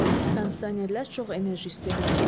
Kondisionerlər çox enerji istehlak edir.